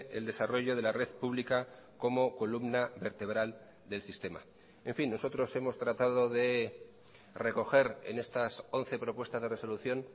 el desarrollo de la red pública como columna vertebral del sistema en fin nosotros hemos tratado de recoger en estas once propuestas de resolución